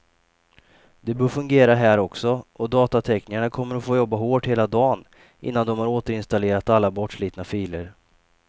Det bör fungera här också, och datateknikerna kommer att få jobba hårt hela dagen innan de har återinstallerat alla bortslitna filer.